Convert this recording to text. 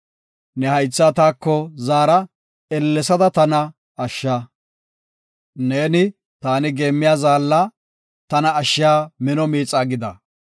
Ne haythaa taako zaara; ellesada tana ashsha. Neeni, taw geemmiya zaalla; tana ashshiya mino miixa gida.